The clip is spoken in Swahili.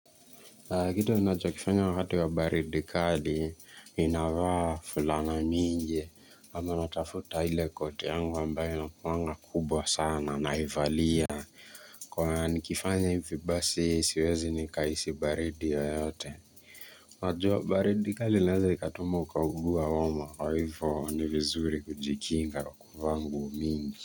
Kitu unacokifanya wakati wa baridi kali ninavaa fulana mingi ama natafuta ile koti yangu ambayo inakuanga kubwa sana naivalia Kwa nikifanya ivi basi siwezi nikahisi baridi yoyote wajua baridi kali inaweza ikatuma ukaugua homa Kwa hivyo ni vizuri kujikinga kuvaa nguo mingi.